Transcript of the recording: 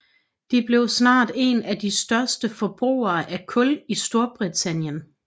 De blev snart en af de største forbrugere af kul i Storbritannien